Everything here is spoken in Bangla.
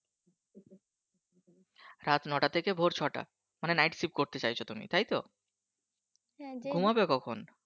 রাত ন'টা থেকে ভোর ছটা, মানে না Night Shift করতে চাইছো তুমি তাই তো? ঘুমাবে কখন?